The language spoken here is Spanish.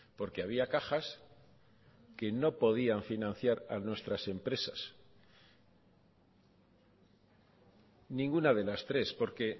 porque había cajas que no podían financiar a nuestras empresas ninguna de las tres porque